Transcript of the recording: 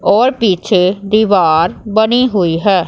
और पीछे दीवार बनी हुई है।